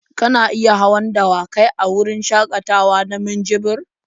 Kana iya hawan dawakai a wurin shakatawa na minjibir.